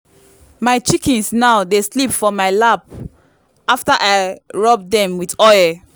my chickens now dey sleep for my lap after i rub them with oil.